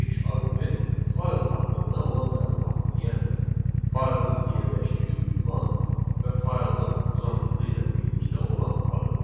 İlk arqument fayl haqqında olan məlumatdır, yəni faylın yerləşdiyi ünvan və faylın uzantısı ilə birlikdə olan adı.